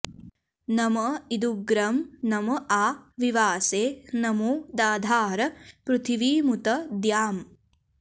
नम॒ इदु॒ग्रं नम॒ आ वि॑वासे॒ नमो॑ दाधार पृथि॒वीमु॒त द्याम्